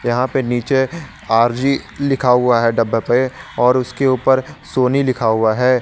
यहां पे नीचे आर_जी लिखा हुआ है डब्बे पे और उसके ऊपर सोनी लिखा हुआ है।